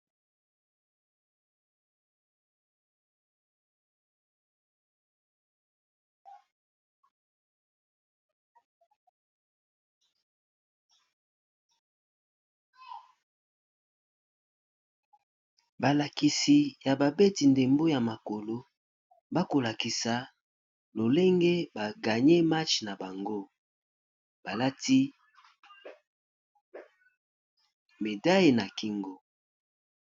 Awa balakisi, babeti ndembo ya makolo bazwi lifuti na bango. Ezali bongo medaille na certificat esengo mingi. Nde bongo batelemi pona kozwa foto.